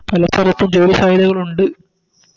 പല സ്ഥലത്തും ജോലി സാധ്യതകളുണ്ട്